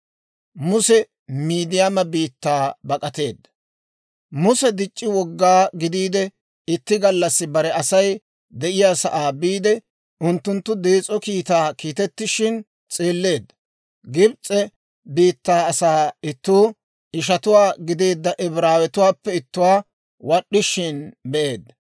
Muse dic'c'i woggaa gidiide, itti gallassi bare Asay de'iyaa sa'aa biide; unttunttu dees'o kiitta kiitettishin s'eelleedda. Gibs'e biittaa asaa ittuu, ishatuwaa gideedda Ibraawatuwaappe ittuwaa wad'd'ishin be'eedda.